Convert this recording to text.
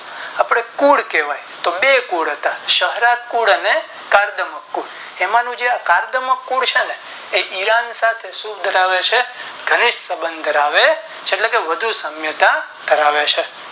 આપણે કુલ કેવાઈ તો બે કુલ હતા સહાર્ટકુળ અને કાર્દમક કુળ એમનું જે આ કાર્દમક કુળ છે ને તે ઈરાની સાથે શું ધરાવે છે ધનિક સબંધ ધરાવે છે એટલે કે વધુ સામ્યતા દશાવે છે